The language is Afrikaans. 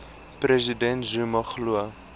president zuma glo